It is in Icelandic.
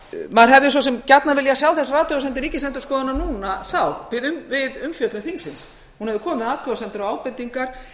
maður hefði svo sem gjarnan viljað sjá þessar athugasemdir ríkisendurskoðunar núna þá við umfjöllun þingsins hún hefur komið með athugasemdir og